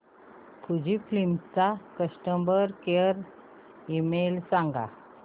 Fujifilm चा customer care email सांगा